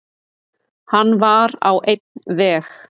Hann var á einn veg.